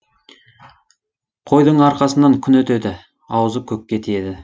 қойдың арқасынан күн өтеді аузы көкке тиеді